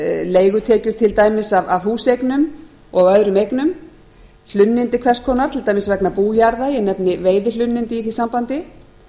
leigutekjur til dæmis af húseignum og öðrum eignum hlunnindi hvers konar til dæmis vegna bújarða ég nefni veiðihlunnindi í því sambandi